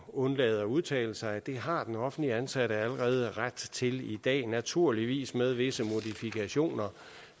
undlade at udtale sig det har den offentligt ansatte allerede ret til i dag naturligvis med visse modifikationer